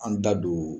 An da don